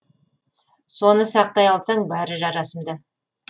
соны сақтай алсаң бәрі жарасымды